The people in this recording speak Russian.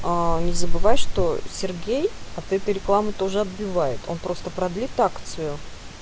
не забывай что сергей от этой рекламы тоже отбивает он просто продлит акцию